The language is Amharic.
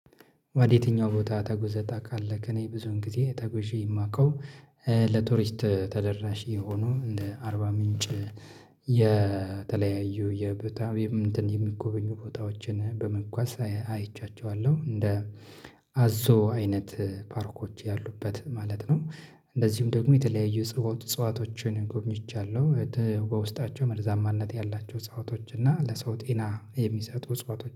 ወደ የትኛው ቦታ ተጉዘታ ታቃለክ? እኔ ብዙን ጊዜ ተጉዤ የማውቀው ለቱሪስት ተደራሽ የሆኑ እንደ አርባ ምንጭ የተለያዩ የብታቤ እንትን የሚጎበኙ ቦታዎችን በመጓዝ አይቻቸዋለሁ። እንደ አዞ አይነት ፓርኮች ያሉበት ማለት ነው። እንደዚሁም ደግሞ የተለያዩ እጽዋቶችን ጎብኝቻለሁ። በተ በውስጣቸው መርዛማነት ያላቸው እጽዋቶች እና ለሰው ጤና የሚሰጡ እጽዋቶች